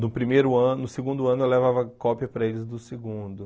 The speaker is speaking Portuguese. No primeiro ano, no segundo ano eu levava cópia para eles do segundo.